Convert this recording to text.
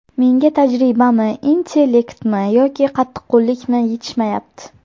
Menga tajribami, intelektmi yoki qattiqqo‘llikmi yetishmayapti.